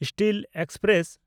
steel express